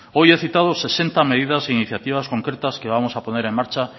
hoy he citado sesenta medidas e iniciativas concretamos que vamos a poner en marcha